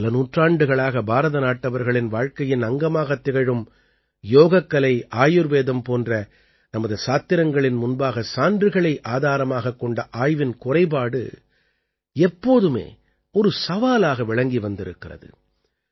பல நூற்றாண்டுகளாக பாரத நாட்டவர்களின் வாழ்க்கையின் அங்கமாகத் திகழும் யோகக்கலை ஆயுர்வேதம் போன்ற நமது சாத்திரங்களின் முன்பாக சான்றுகளை ஆதாரமாகக் கொண்ட ஆய்வின் குறைபாடு எப்போதுமே ஒரு சவாலாக விளங்கி வந்திருக்கிறது